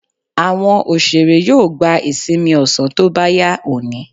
Àwọn òṣèré yóò gba ìsinmi ọ̀sán tó bá yá òní.